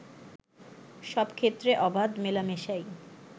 “সব ক্ষেত্রে অবাধ মেলামেশাই